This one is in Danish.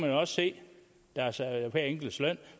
jo også se hver enkelts løn